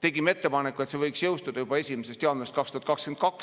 tegime ettepaneku, et see võiks jõustuda juba 1. jaanuarist 2022.